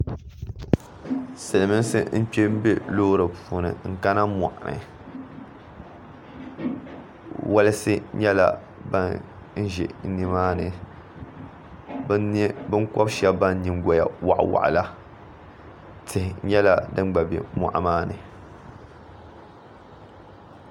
Silimiinsi n-kpe m- be loori puuni n-kana mɔɤu ni walisi nyɛla ban ʒe nimaani binkɔbi'shɛba ban nyingɔya waɤiwaɤi la tihi nyɛla din gba be mɔɤu maa ni